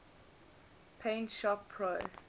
paint shop pro